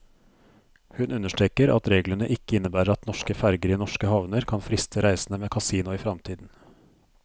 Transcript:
Hun understreker at reglene ikke innebærer at norske ferger i norske havner kan friste reisende med kasino i fremtiden.